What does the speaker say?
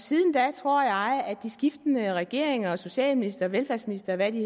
siden da tror jeg at de skiftende regeringers socialministre og velfærdsministre og hvad de